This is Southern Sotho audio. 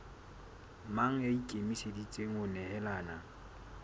mang ya ikemiseditseng ho nehelana